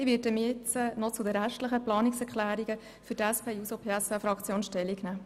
Ich werde für die SP-JUSO-PSA-Fraktion noch zu den restlichen Planungserklärungen Stellung nehmen.